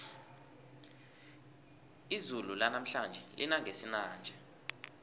izulu lanamhlanje lina ngesinanja